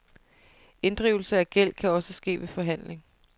Inddrivelse af gæld kan også ske ved forhandling.